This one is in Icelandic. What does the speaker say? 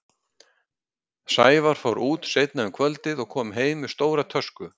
Sævar fór út seinna um kvöldið og kom heim með stóra tösku.